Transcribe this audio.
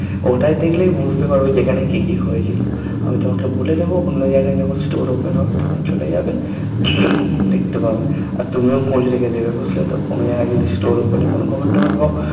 ওটায় দেখলেই বুঝতে পারবে যে এখানে কি কি হয়েছিল আমি তোমাকে বলে দেবো অন্য জায়গায় যখন Store Open হবে তখন চলে যাবে দেখতে পাবে আর তুমিও খোঁজ রেখে দিবে বুঝলে তো কোনো জায়গায় যদি Store Opening এর কোনো খবর টবর পাও